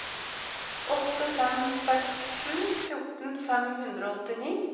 åtte fem seks sju fjorten fem hundre og åttini